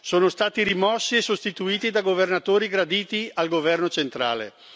sono stati rimossi e sostituiti da governatori graditi al governo centrale.